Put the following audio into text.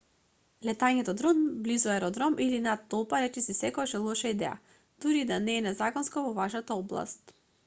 летањето дрон близу аеродром или над толпа речиси секогаш е лоша идеја дури и да не е незаконско во вашата област